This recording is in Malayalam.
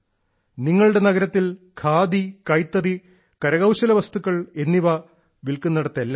നിങ്ങളുടെ നഗരത്തിൽ ഖാദി കൈത്തറി കരകൌശല വസ്തുക്കൾ എന്നിവ വിൽക്കുന്നിടത്തെല്ലാം